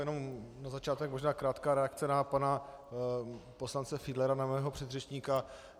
Jen na začátek možná krátká reakce na pana poslance Fiedlera, na mého předřečníka.